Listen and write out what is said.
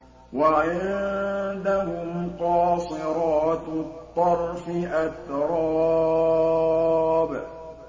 ۞ وَعِندَهُمْ قَاصِرَاتُ الطَّرْفِ أَتْرَابٌ